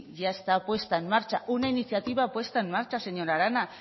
ya está puesta en marcha una iniciativa puesta en marcha señora arana